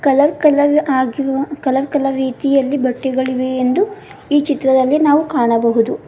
Colour colour ಆಗಿರುವ colour colour ರೀತಿಯಲ್ಲಿ ಬಟ್ಟೆಗಳಿವೆ ಎಂದು ಈ ಚಿತ್ರದಲ್ಲಿ ನಾವು ಕಾಣಬಹುದು.